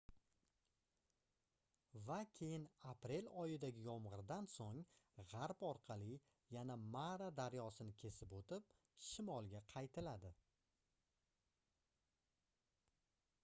va keyin aprel oyidagi yomgʻirdan soʻng gʻarb orqali yana mara daryosini kesib oʻtib shimolga qaytiladi